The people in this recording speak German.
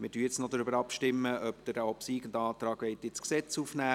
Wir stimmen nun noch darüber ab, ob Sie den obsiegenden Antrag ins Gesetz aufnehmen.